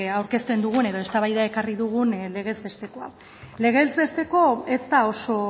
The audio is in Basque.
aurkezten dugun edo eztabaidara ekarri dugun legez besteko hau legez bestekoa ez da oso